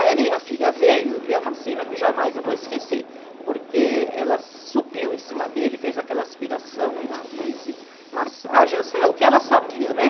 Aí a minha filha veio, e é uma cena que jamais eu vou esquecer, porque ela subiu em cima dele, fez aquela aspiração de nariz e massagem, o que ela sabia, né?